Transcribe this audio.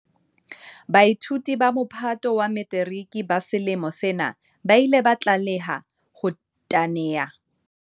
Baithuti ba Mophato wa Metiriki ba selemo sena ba ile ba tlameha ho teana le diphephetso tse ngata ka lebaka la kokwanahloko ya corona, CO-VID-19.